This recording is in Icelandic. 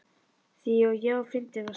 Því ó, já, fyndin varstu.